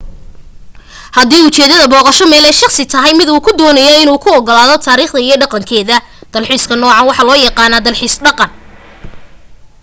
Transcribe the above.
hadii ujeedada booqasho meel ee shaqsi tahay mid uu ku doonayo in uu ku ogaado taarikhdeeda iyo dhaqankeda dalxiiska nuucan waxaa loo yaqaan dalxiis dhaqan